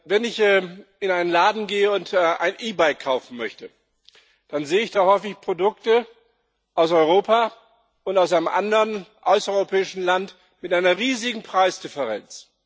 Wenn ich in einen Laden gehe und ein E Bike kaufen möchte, dann sehe ich da häufig Produkte aus Europa und aus einem anderen außereuropäischen Land mit einer riesigen Preisdifferenz.